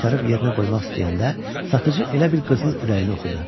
Qaytarıb yerinə qoymaq istəyəndə satıcı elə bil qızın ürəyini oxudu.